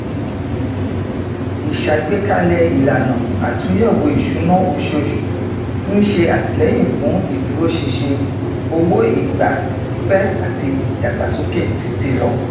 ìṣàgbékalẹ ìlànà àtúnyẹwò ìṣúná oṣooṣù ń ṣe àtìlẹyìn fún ìdúróṣinṣin owó ìgbà pípẹ àti ìdàgbàsókè títílọ